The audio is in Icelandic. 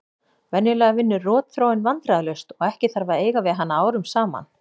Venjulega vinnur rotþróin vandræðalaust og ekki þarf að eiga við hana árum saman.